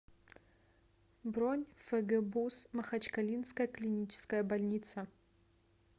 бронь фгбуз махачкалинская клиническая больница